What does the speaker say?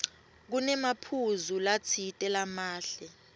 kunemaphuzu latsite lamahle